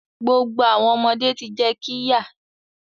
Gbogbo awọn ọmọde ti jẹ qirya